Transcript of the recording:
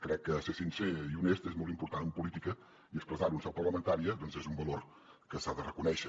crec que ser sincer i honest és molt important en política i expressar ho en seu parlamentària és un valor que s’ha de reconèixer